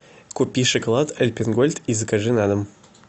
купи шоколад альпен гольд и закажи на дом